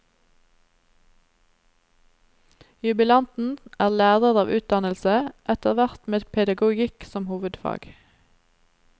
Jubilanten er lærer av utdannelse, etterhvert med pedagogikk som hovedfag.